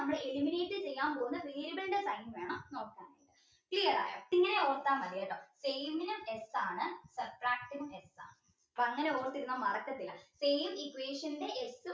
eliminate ചെയ്യാൻ പോന്ന variable sign വേണം നോക്കാൻ clear ആയോ ഇങ്ങനെ ഒത്ത മതി കേട്ടോ ആണ് അപ്പൊ അങ്ങനെ ഓർത്തിരുന്ന മറക്കത്തില്ല same equation ന്റെ